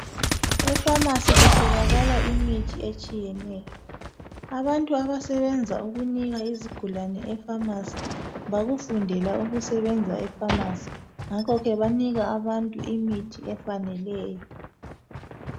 Epharmacy kutholakala imithi etshiyeneyo. Abantu abasebenza ukunika izigulane epharmacy bakufundela ukusebenza epharmacy. Ngakho ke banika abantu imithi efaneleyo.